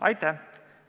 Aitäh!